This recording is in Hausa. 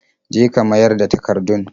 Je ka mayar da takardun.